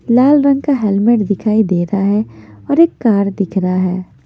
लाल रंग का हेलमेट दिखाई दे रहा है और एक कार दिख रहा है।